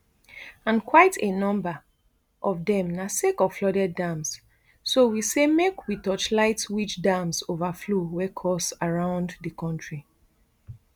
and quite a number of dem na sake of flooded dams so we say make we torchlight which dams overflow wey cause around di kontri